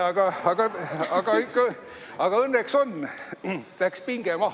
Aga õnneks ikka on, läks pinge maha.